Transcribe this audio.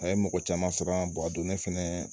A ye mɔgɔ caman sɔrɔ a donnen fɛnɛ